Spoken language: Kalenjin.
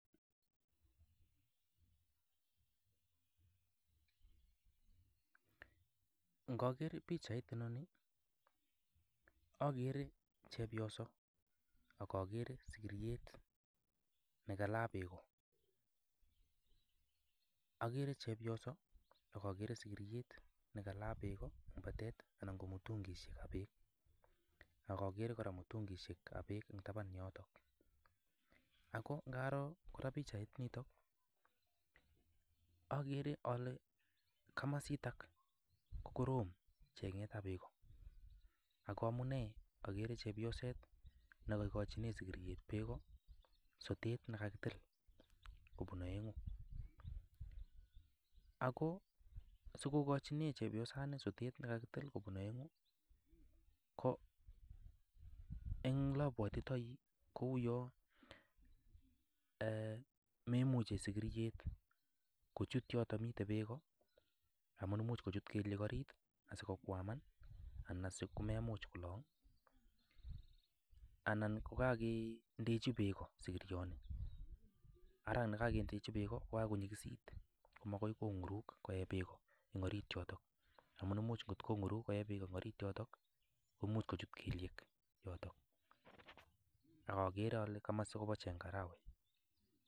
Ngaker pichaini akere chepyoso ako akere sikiriet nekalaa beko, akere chepyoso ako akere sikiriet nekalaa beko eng patet ana ko mutungishek chepa bek ako akere mutunguishek ap bee che mii tapan yoto, ako ngaroo kora pichait nito akere alee kamasita ko korom chenget ap beko, ako amune akere chepyoset ne kaikochine sikiryet beko sotet no koketil koek aengu ako sokokochinee chepyosani sotet ne kaketil koek aengu ko eng lapwatitoi kuyo memuchi sikiryet kochut yoto mito beko amu muj kochut kelyek arit asikokwaman ana sokomemuch kolong ana kakendeji beko sikorioni, ara ne kakendenechi beko ko kakonyikisit ko makoi kongurus koe beko eng arit yoto amu muj kongurus koek beko eng arit yoto ko much kochut kelyek yoto ako akere komosi kopa chengarawek